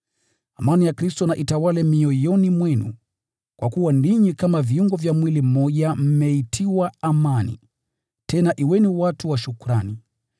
Amani ya Kristo na itawale mioyoni mwenu, kwa kuwa ninyi kama viungo vya mwili mmoja mmeitiwa amani. Tena kuweni watu wa shukrani.